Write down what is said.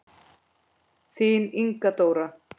Þín Inga Dóra.